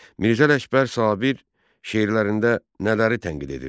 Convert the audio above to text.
Mirzə Ələkbər Sabir şeirlərində nələri tənqid edirdi?